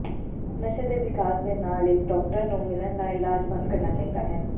ਨਸ਼ੇ ਦੇ ਵਿਕਾਸ ਦੇ ਨਾਲ ਇੱਕ ਡਾਕਟਰ ਨੂੰ ਮਿਲਣ ਦਾ ਇਲਾਜ ਬੰਦ ਕਰਨਾ ਚਾਹੀਦਾ ਹੈ